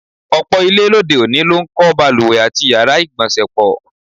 Ò̩pò̩ ilé lóde-òní ló ń kó̩ balùwè àti yàrá ìgbò̩nsè̩ pò̩.